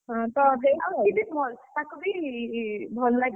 ହଁ ସେତ ତାକୁ ବି ଭଲ ଲାଗିବ।